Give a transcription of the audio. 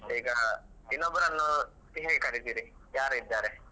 ಈಗ ಇನ್ನೊಬ್ರನ್ನು ಹೇಗೆ ಕರಿತೀರಿ ಯಾರ್ ಇದ್ದಾರೆ?